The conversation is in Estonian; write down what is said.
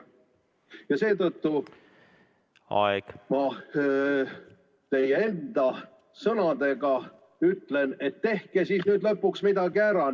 Ja seetõttu ma ütlen teie enda sõnadega, et tehke siis nüüd lõpuks midagi ära.